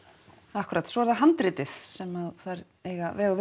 akkúrat svo er það handritið sem þær eiga veg og